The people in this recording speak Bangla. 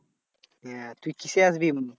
হ্যাঁ তুই কিসে আসবি?